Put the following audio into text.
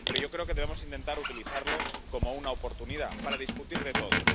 Pero yo creo que debemos intentar utilizarlo como una oportunidad para discutir de todo.